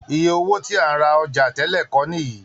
Iye owó tí a ń ra ọjà tẹ́lẹ̀ kọ́ nìyí